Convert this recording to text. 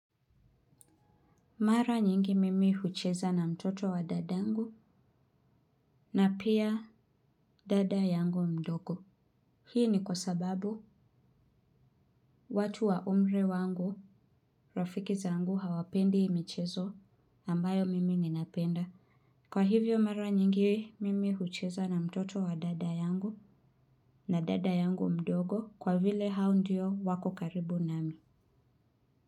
Mara nyingi mimi hucheza na mtoto wa dada yangu na pia dada yangu mdogo. Hii ni kwa sababu watu wa umri wangu rafiki zangu hawapendi michezo ambayo mimi ninapenda. Kwa hivyo mara nyingi mimi hucheza na mtoto wa dada yangu na dada yangu mdogo kwa vile hao ndiyo wako karibu nami.